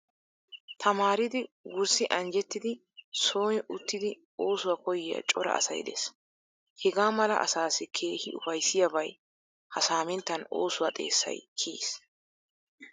Tamaaridi wurssi anjjettidi sooni uttidi oosuwa koyyiya cora asay de'ees. Hegaa mala asaassi keehi ufayssiyaabay ha saaminttan osuwa xeesay kiyiis.